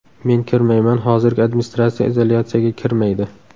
Men kirmayman, hozirgi administratsiya izolyatsiyaga kirmaydi.